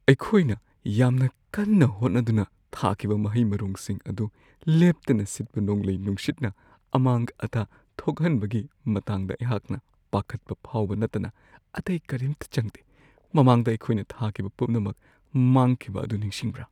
ꯑꯩꯈꯣꯏꯅ ꯌꯥꯝꯅ ꯀꯟꯅ ꯍꯣꯠꯅꯗꯨꯅ ꯊꯥꯈꯤꯕ ꯃꯍꯩ-ꯃꯔꯣꯡꯁꯤꯡ ꯑꯗꯨ ꯂꯦꯞꯇꯅ ꯁꯤꯠꯄ ꯅꯣꯡꯂꯩ-ꯅꯨꯡꯁꯤꯠꯅ ꯑꯃꯥꯡ-ꯑꯇꯥ ꯊꯣꯛꯍꯟꯕꯒꯤ ꯃꯇꯥꯡꯗ ꯑꯩꯍꯥꯛꯅ ꯄꯥꯈꯠꯄ ꯐꯥꯎꯕ ꯅꯠꯇꯅ ꯑꯇꯩ ꯀꯔꯤꯝꯇ ꯆꯪꯗꯦ ꯫ ꯃꯃꯥꯡꯗ ꯑꯩꯈꯣꯏꯅ ꯊꯤꯈꯤꯕ ꯄꯨꯝꯅꯃꯛ ꯃꯥꯡꯈꯤꯕ ꯑꯗꯨ ꯅꯤꯡꯁꯤꯡꯕ꯭ꯔꯥ ?